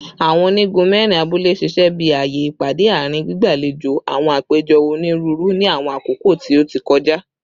Awọn onigun mẹrin abule ṣiṣẹ bi awọn aaye ipade aarin, gbigbalejo awọn apejọ oniruuru ni awọn akoko ti o ti kọja